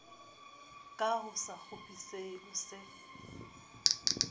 ka a sekgopisehe o se